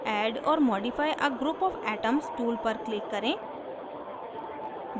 add or modify a group of atoms tool पर click करें